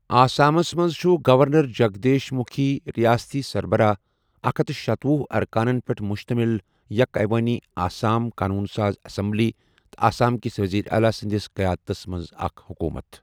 آسامس منٛز چھُ گورنر جگدیش مٗکھی ریاستی سربراہ ، اکھ ہتھ شتۄہُ ارکانن پٮ۪ٹھ مشتمل یك عیوٲنی آسام قانون ساز اسمبلی، تہٕ آسامکس وزیر اعلیٰ سٕنٛدس قیادتس منٛز اکھ حکومت۔